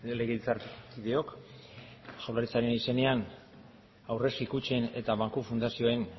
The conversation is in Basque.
legebiltzarkideok jaurlaritzaren aurrezki kutxen eta banku fundazioen